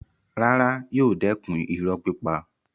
Rárá, yóò dẹ̀kun irọ́ pípa.